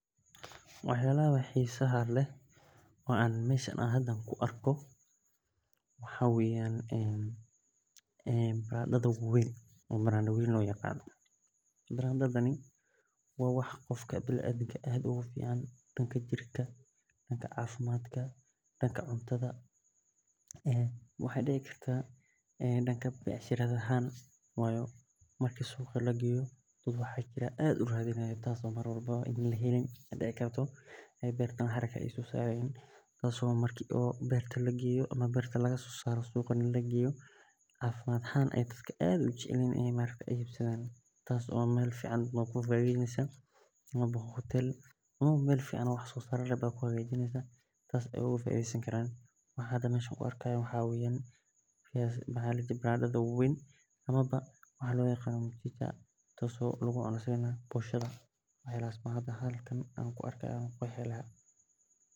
Waxyalaha xisaha leh waxa weyan maxaa waye baradadha wawen oo loyaqano barada waxaa dici kartaa in laheli karin in beerta laga sosaro mesha amawa wax sosar leh baradadha wawen amawa lagu cuno boshaada waxyalaha ayan ku arki haya ayan ku qeexi laha sas waye Mark sithan arki hayo beera leyda waxee isticmalan hab casri ah oo beerista sitha aburka tahada leh warabka dirta iyo istimalka bacriminta raqiska ah ee dolada kudawaqday wuxuu leyahay ujedoyin muhiim ah oo lagu nadhiifiyo lagana ilaliyo germiska.